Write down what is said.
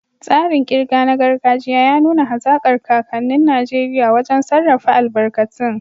Tsarin ƙirga na gargajiya ya nuna hazaƙar kakannin Najeriya wajen sarrafa albarkatun.